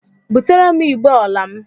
Butere m igbé ọla m!